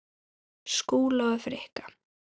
Skúla og Frikka?